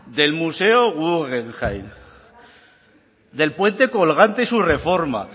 del museo guggenheim del puente colgante y sus reformas